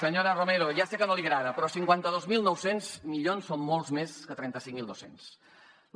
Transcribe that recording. senyora romero ja sé que no li agrada però cinquanta dos mil nou cents milions són molts més que trenta cinc mil dos cents docents